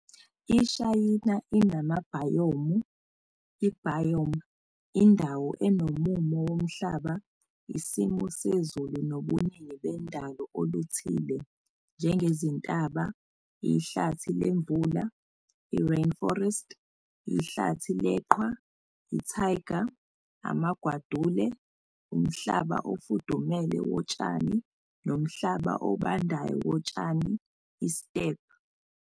IShayina inamabhayomu, i-"biome", indawo enomumo womhlaba, isimo sezulu nobuningi bendalo oluthile, njengezintaba, ihlathi lemvula, i-"rainforest", ihlathi leqhwa, i-taiga", amagwadule, umhlaba ofudumele wotshani nomhlaba obandayo wotshani, i-"steppe".